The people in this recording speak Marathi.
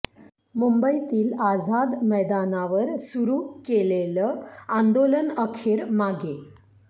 मुंबईतील आझाद मैदानावर सुरू केलेलं आंदोलन अखेर मागे